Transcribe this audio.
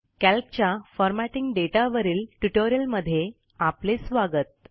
calc च्या formatting दाता वरील ट्युटोरियलमध्ये आपले स्वागत